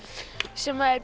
sem er